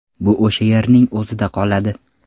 Bu o‘sha yerning o‘zida qoladi.